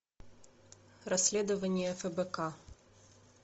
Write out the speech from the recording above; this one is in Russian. расследование фбк